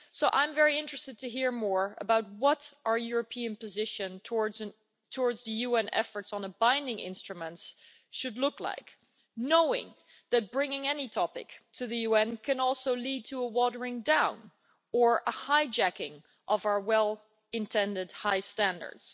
I'm very interested to hear more about what our European position towards the UN efforts on a binding instrument should look like, knowing that bringing any topic to the UN can also lead to a watering down or a hijacking of our well-intentioned high standards.